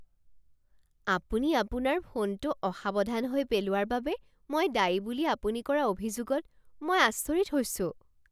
আপুনি আপোনাৰ ফোনটো অসাৱধান হৈ পেলোৱাৰ বাবে মই দায়ী বুলি আপুনি কৰা অভিযোগত মই আচৰিত হৈছোঁ।